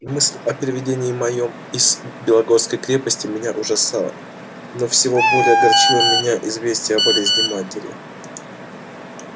мысль о переведении моём из белогорской крепости меня ужасала но всего более огорчило меня известие о болезни матери